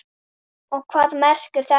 Og hvað merkir þetta?